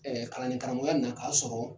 Ɛɛ kalan ni karamɔgɔya na a ya sɔrɔ